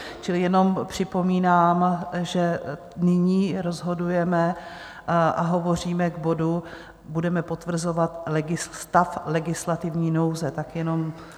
Čili jenom připomínám, že nyní rozhodujeme a hovoříme k bodu, budeme potvrzovat stav legislativní nouze, tak jenom...